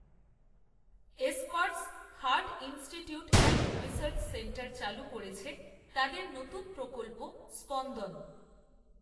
Escorts, Heart, Institute, and Research Centre চালু করেছে, তাদের নতুন প্রকল্প, স্পন্দন